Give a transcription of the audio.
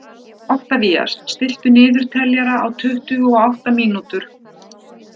Oktavías, stilltu niðurteljara á tuttugu og átta mínútur.